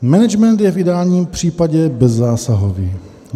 Management je v ideálním případě bezzásahový.